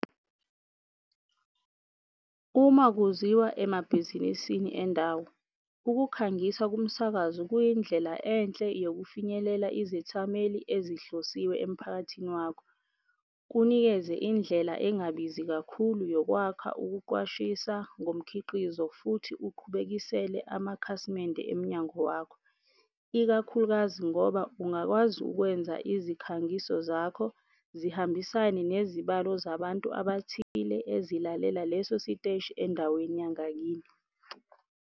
Uma kuziwa emabhizinisini endawo, ukukhangisa kumsakazo kuyindlela enhle yokufinyelela izithameli ezihlosiwe emiphakathini wakho. Kunikeze indlela engabizi kakhulu yokwakha ukuqwashisa ngomkhiqizo futhi uqhubekisele amakhasimende emnyango wakho. Ikakhulukazi ngoba ungakwazi ukwenza izikhangiso zakho zihambisane nezibalo zabantu abathile ezilalela leso siteshi endaweni yangakini.